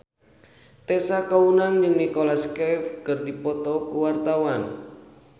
Tessa Kaunang jeung Nicholas Cafe keur dipoto ku wartawan